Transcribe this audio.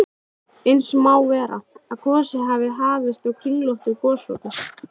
Eins má vera, að gosið hafi hafist á kringlóttu gosopi.